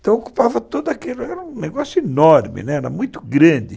Então ocupava tudo aquilo, era um negócio enorme, né, era muito grande.